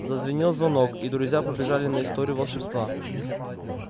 зазвенел звонок и друзья побежали на историю волшебства